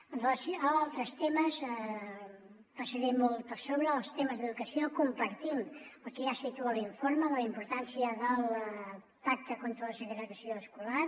amb relació a altres temes passaré molt per sobre els temes d’educació compartim el que ja situa l’informe de la importància del pacte contra la segregació escolar